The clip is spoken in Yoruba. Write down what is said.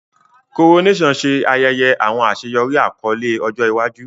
Coronation ṣe ayẹyẹ awọn aṣeyọri akọle ọjọ iwaju.